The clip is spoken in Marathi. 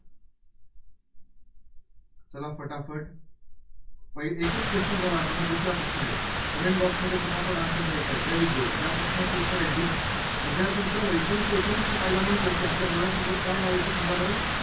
चला फटाफट एकच question झाला आता हा दुसरा प्रश्न आहे, comment box मध्ये फटाफट answer द्यायचं आहे. very good या प्रश्नाचं उत्तर आहे d विद्यार्थी मित्रांनो एकोणीसशे एकोणीसचा कायदा म्हटलं की आपल्याला डोळ्यासमोर काय नावं येतं? सांगा बरं.